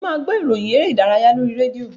Mo máa gbọ́ ìròyìn eré-ìdárayá lórí rédíò.